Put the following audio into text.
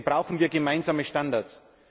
Deswegen brauchen wir gemeinsame Standards.